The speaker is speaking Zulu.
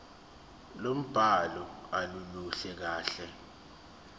lombhalo aluluhle kahle